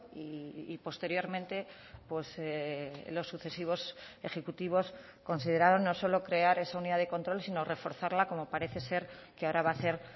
y posteriormente los sucesivos ejecutivos consideraron no solo crear esa unidad de control sino reforzarla como parece ser que ahora va a hacer